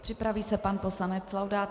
Připraví se pan poslanec Laudát.